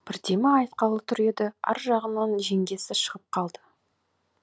бірдеме айтқалы тұр еді ар жағынан жеңгесі шығып қалды